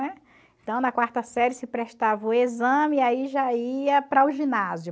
Então, na quarta série, se prestava o exame e aí já ia para o ginásio, né?